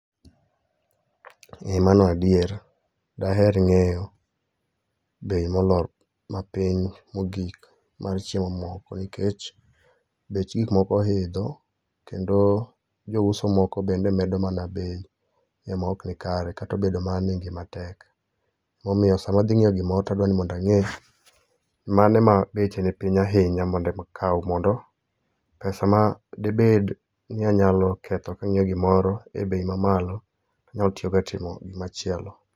Ee mano adier. Daher ng'eyo [csbei molor, mapiny mogik mar chiemo moko nikech, bech gikmoko oidho kendo jouso moko bende mana bei e moknikare kat obedo mana ni ngima tek. Momiyo sama adhi ng'iewo gimoro to adwa ni mondo ang'e mane ma beche ni piny ahinya mondo ema akaw, mondo pesa ma debed ni adwa ketho kang'iewo gimoro e bei mamalo, anyalo tiyogo e timo gimachielo.